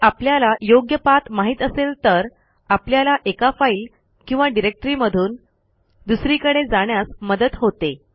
जर आपल्याला योग्य पाठ माहित असेल तर आपल्याला एका फाईल किंवा डिरेक्टरीमधून दुसरीकडे जाण्यास मदत होते